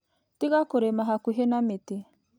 Tiga kũrĩma hakuhĩ na mĩtĩ.